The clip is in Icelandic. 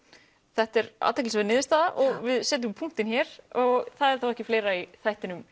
þetta er athyglisverð niðurstaða og við setjum punktinn hér það er þá ekki fleira í þættinum